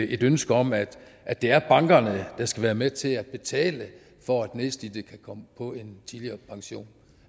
i et ønske om at at det er bankerne der skal være med til at betale for at nedslidte kan komme på en tidligere pension